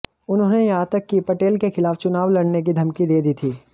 उन्होंने यहां तक कि पटेल के खिलाफ चुनाव लड़ने की धमकी दे दी थी